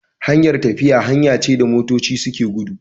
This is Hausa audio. Hanyar tafiya hanya ce da motoci suke gudu